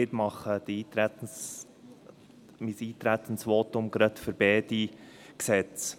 Ich halte mein Eintretensvotum gleich zu beiden Gesetzen.